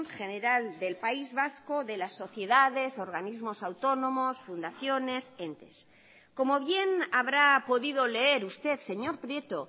general del país vasco de las sociedades organismos autónomos fundaciones entes como bien habrá podido leer usted señor prieto